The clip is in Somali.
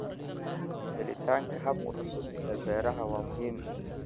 Helitaanka hababka cusub ee beerashada waa muhiim.